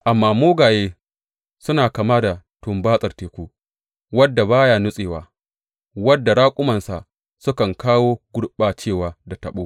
Amma mugaye suna kama da tumbatsar teku, wanda ba ya natsuwa, wanda raƙumansa sukan kawo gurɓacewa da tabo.